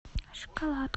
шоколад